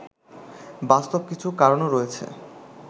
বাস্তব কিছু কারণও রয়েছে